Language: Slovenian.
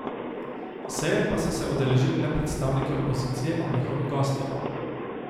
Seje pa so se udeležili le predstavniki opozicije in njihovi gostje.